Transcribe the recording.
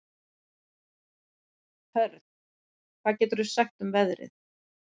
Hörn, hvað geturðu sagt mér um veðrið?